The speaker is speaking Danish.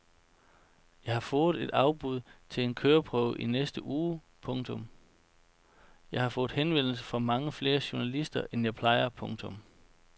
Jeg har fået et afbud til en køreprøve i næste uge. punktum Jeg har fået henvendelse fra mange flere journalister end jeg plejer. punktum